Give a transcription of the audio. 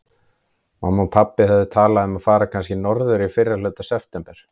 Mamma og pabbi höfðu talað um að fara kannski norður í fyrrihluta september.